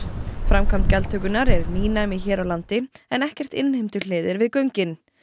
framkvæmd gjaldtökunnar er nýnæmi hér á landi en ekkert innheimtuhlið er við göngin